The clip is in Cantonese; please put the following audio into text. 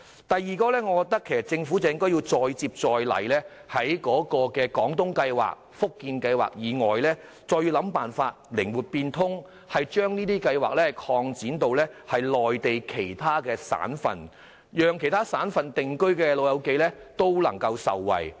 第二，政府應再接再厲，在"廣東計劃"和"福建計劃"以外，訂定靈活變通的辦法，把有關計劃擴展至內地其他省份，以便在其他省份定居的長者也能受惠。